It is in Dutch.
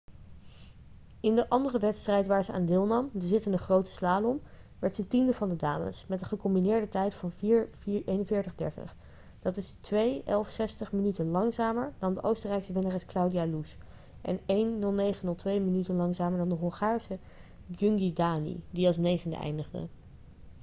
in de andere wedstrijd waar ze aan deelnam de zittende grote slalom werd ze tiende van de dames met een gecombineerde tijd van 4:41:30. dat is 2:11:60 minuten langzamer dan de oostenrijkse winnares claudia loesch en 1:09:02 minuten langzamer dan de hongaarse gyöngyi dani die als negende eindigde